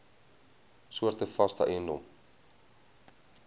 soorte vaste eiendom